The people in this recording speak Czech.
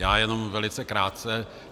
Já jenom velice krátce.